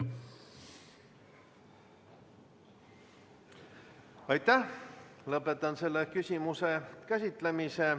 Lõpetan selle küsimuse käsitlemise.